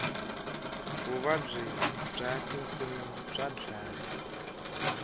vuvabyi bya tinsu bya dlaya